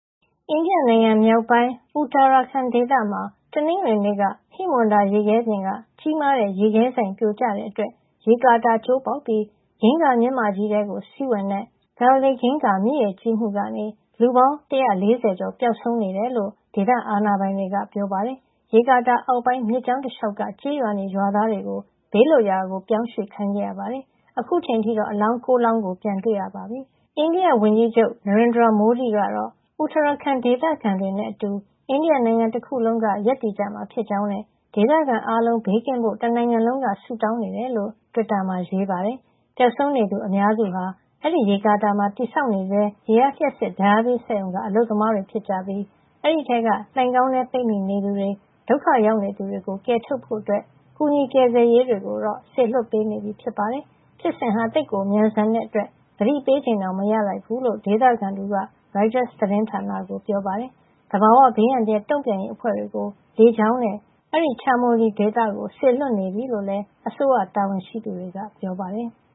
အိန္ဒိယနိုင်ငံမြောက်ပိုင်း Uttarakhand ဒေသမှာ တနင်္ဂနွေနေ့က ဟိမဝန္တာရေခဲပြင်က ကြီးမားတဲ့ရေခဲစိုင်ပြိုကျတဲ့အတွက် ရေကာတာ ကျိုးပေါက်ပြီး အင်္ဂါမြစ်မကြီးထဲ စီးဝင်တဲ့ Dhauli Ganga မြစ်ရေကြီးမှုကနေ လူပေါင်း ၁၄၀ ကျော် ပျောက်ဆုံးနေတယ်လို့ ဒေသအာဏာပိုင်တွေက ပြောပါတယ်။ ရေကာတာအောက်ပိုင်း မြစ်ကြောင်းတလေ ျှာက်က ကျေးရွာနေ ရွာသားတွေကို ဘေးလွတ်ရာ ပြောင်းရွှေ့ခိုင်းခဲ့ရပါတယ်။ အခုအချိန်အထိတော့ အလောင်း ၉ လောင်း ပြန်တွေ့ရပြီ လို့ပြောပါတယ်။ အိန္ဒိယဝန်ကြီးချုပ် Narendra Modi ကတော့ Uttarakhand ဒေသခံတွေနဲ့ အတူ အိန္ဒိယတနိုင်ငံလုံးက ရပ်တည်ကြမှာ ဖြစ်ကြောင်းနဲ့ ဒေသခံအားလုံး ဘေးကင်းဖို့ တနိုင်ငံလုံးက ဆုတောင်းနေကြောင်း တွစ်တာမှာ ရေးပါတယ်။ ပျောက်ဆုံးနေသူ အများစုဟာ အဲဒီရေကာတာမှာ တည်ဆောက်နေဆဲ ရေအားလ ျှပ်စစ်ဓါတ်အားပေးစက်ရုံ က အလုပ်သမားတွေ ဖြစ်ပြီး အဲဒီက လှိုဏ်ခေါင်းထဲ ပိတ်မိနေသူတွေကို ကယ်ထုတ်ဖို့ ကူညီကယ်ဆယ်ရေးတွေကို စေလွှတ်ပေးနေပြီ ဖြစ်ပါတယ်။ ဖြစ်စဉ်ဟာ သိပ်ကို မြန်ဆန်တဲ့ အတွက် သတိပေးချိန်တောင် မရလိုက်ဘူးလို့ ဒေသခံ တဦးက ရိုက်တာ သတင်းဌာနကို ပြောပါတယ်။ သဘာဝဘေးအန္တရာယ် တုန့်ပြန်ရေးအဖွဲ့တွေကို လေကြောင်းနဲ့ အဲဒီ Chamoli ဒေသကို စေလွှတ်နေပြီလို့လည်း အစိုးရ တာဝန်ရှိသူတွေက ပြောပါတယ်။